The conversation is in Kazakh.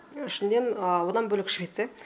ішінде одан бөлек швеция